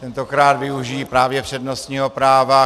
Tentokrát využiji právě přednostního práva.